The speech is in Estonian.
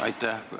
Aitäh!